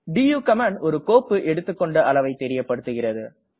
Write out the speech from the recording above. to command ஒரு கோப்பு எடுத்துக்கொண்ட அளவை தெரியப்படுகிறது